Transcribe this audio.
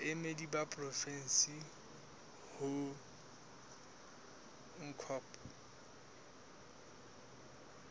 baemedi ba porofensi ho ncop